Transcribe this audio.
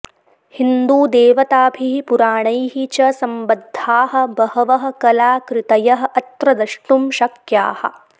हिन्दूदेवताभिः पुराणैः च सम्बद्धाः बहवः कलाकृतयः अत्र द्रष्टुं शक्याः